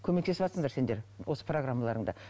көмектесіватсыңдар сендер осы программаларыңда